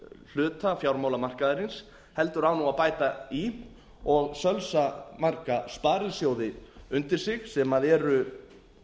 hluta fjármálamarkaðarins heldur á nú að bæta í og sölsa marga sparisjóði undir sig sem eru